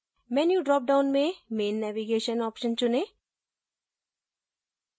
menu dropdown में main navigation option चुनें